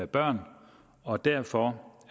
børn og derfor